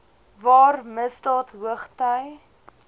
waar misdaad hoogty